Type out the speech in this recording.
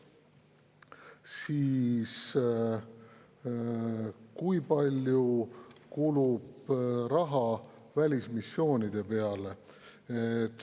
Siis, kui palju kulub raha välismissioonide peale?